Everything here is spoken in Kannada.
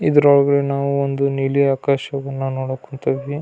ಇದ್ರ ಒಲ್ಗಡೆ ನಾವು ಒಂದು ನೀಲಿ ಆಕಾಶವನ್ನ ನೋಡಕತಿದ್ವಿ.